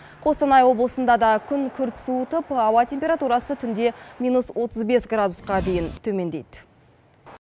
қостанай облысында да күн күрт суытып ауа температурасы түнде минус отыз бес градусқа дейін төмендейді